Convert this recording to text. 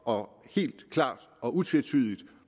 og helt klart og utvetydigt